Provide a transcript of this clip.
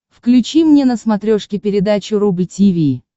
включи мне на смотрешке передачу рубль ти ви